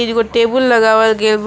एगो टेबुल लगावल गाइल बा।